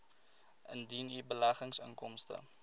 indien u beleggingsinkomste